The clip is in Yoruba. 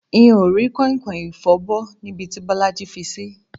N ò rí kò̩inkò̩in ìfo̩bó̩ níbi tí Bó̩lájí fi sí